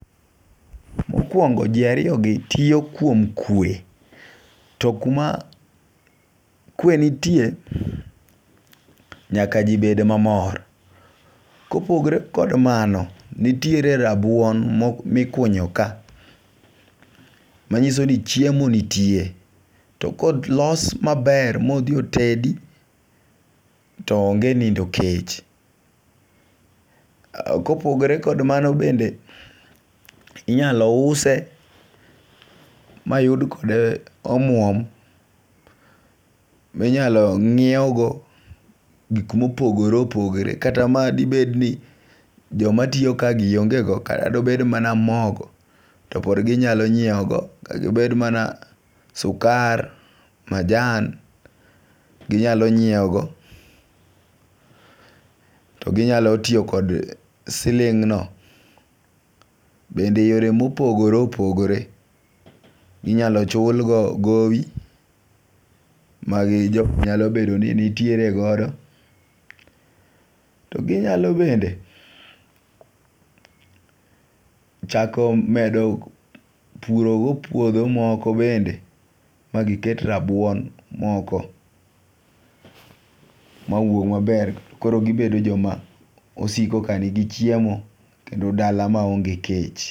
Mokwongo ji ariyogi tiyo kuom kwe, to kuma kwe nitie nyaka ji bed mamor. Kopogre kod mano, nitiere rabuon mikunyo ka. Manyiso ni chiemo nitie to kolos maber modhi otedi to onge nindo kech. Kopogre kod mano bende inyalo use mayud kode omuom minyalo ng'iewgo gik mopogore opogore kata madibed ni joma tiyokagi ongego kata dobed mana mogo to pod ginyalo nyieogo kata obed mana sukar, majan ginyalo nyieogo to ginyalo tiyo kod siling'no bende yore mopogore opogore inyalo chulgo gowi majogo nyalo bedo ni nitiere godo, to ginyalo bende chako medo purogo puodho moko bende magiket rabuon moko mawuog maber to koro gibedo joma osiko kanigi chiemo kendo dala maonge kech.